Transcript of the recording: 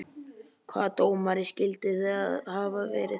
Hvaða dómari skyldi það hafa verið?